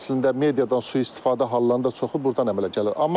Əslində mediadan sui-istifadə hallarının da çoxu burdan əmələ gəlir.